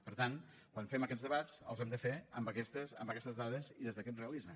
per tant quan fem aquests debats els hem de fer amb aquestes dades i des d’aquest realisme